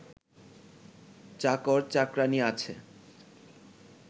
চাকর চাকরানী আছে